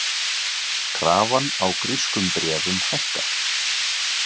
Krafan á grískum bréfum hækkar